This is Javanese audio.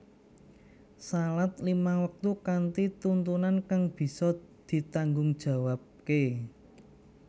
Salat limang waktu kanthi tuntunan kang bisa ditanggungjawabke